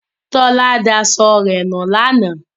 Tọ́lá daṣọ nu lánàá.